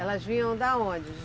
Elas vinham da onde?